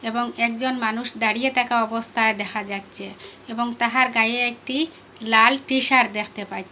এবং একজন মানুষ দাঁড়িয়ে তাকা অবস্তায় দেখা যাচ্ছে এবং তাহার গায়ে একটি লাল টিশার্ট দেখতে পাচ্ছি।